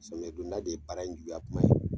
Sɔmiyɛ don da de ye bara in juguya kuma ye!